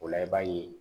O la i b'a ye